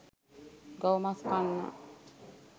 ගව මස් කන්නා